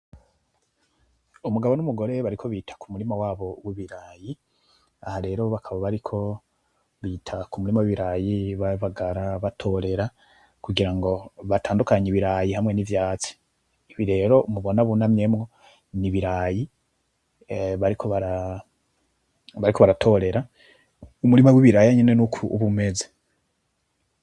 Umugabo numugore bariko bita kumurima wabo wibirayi. Aha rero bakaba bariko bita kumurima wibirayi babagara batorera kugira ngo batandukanye ibirayi hamwe nivyasi. Ibi rero mubona bunamyemwo nibirayi bariko baratorera, umurima wibirayi nuko uba umeze.